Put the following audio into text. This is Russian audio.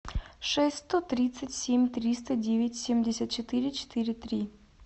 шесть сто тридцать семь триста девять семьдесят четыре четыре три